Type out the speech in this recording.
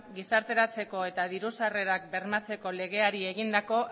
gizarteratzeko eta diru sarrerak bermatzeko legeari egindako